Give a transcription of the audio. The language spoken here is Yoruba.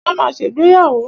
Wọ́n ma ṣègbéyàwó.